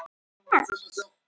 Til hvers?